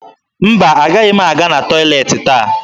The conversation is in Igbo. Mba, agaghị m aga na tọyịleetị taa